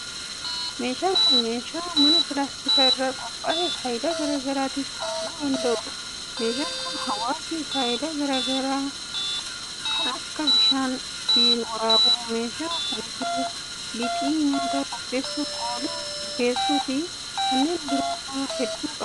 Meeshaan kun, meeshaa manaa pilaastika irraa qophaa'e faayidaa garaa garaatif ooluu danda'uu dha. Meeshaa kana hawaasni faayidaa garaa garaa kan akka: bishaan ittiin waraabuu, bishaan kuusuu, lixii nyaata qopheessuuf oolu bukeessuu fi kanneen biroo faa hedduu qaba.